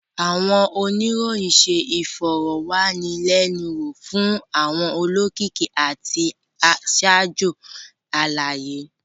Awọn oniroyin ṣe ifọrọwanilẹnuwo fun awọn olokiki lati ṣajọ alaye.